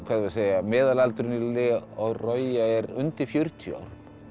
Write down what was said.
meðalaldurinn á er undir fjörutíu árum